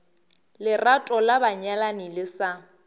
lerato la banyalani le sa